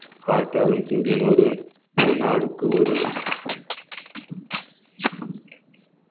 பார்த்தாலும் சூரியன் ஒரு நாளுக்கு ஒரு